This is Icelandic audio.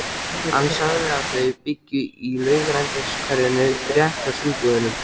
Hann sagði að þau byggju í Laugarneshverfinu, rétt hjá Sundlaugunum.